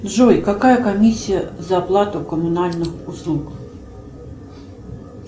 джой какая комиссия за оплату коммунальных услуг